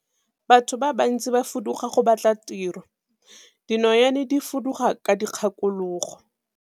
Batho ba bantsi ba fuduga go batla tiro, dinonyane di fuduga ka dikgakologo.